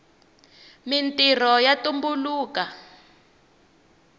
mintrho ya tumbuluka